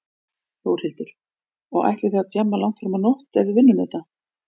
Þórhildur: Og ætlið þið að djamma langt fram á nótt ef við vinnum þetta?